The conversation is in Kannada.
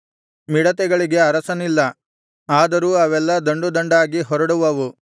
ಮಿಡತೆಗಳಿಗೆ ಅರಸನಿಲ್ಲ ಆದರೂ ಅವೆಲ್ಲಾ ದಂಡುದಂಡಾಗಿ ಹೊರಡುವವು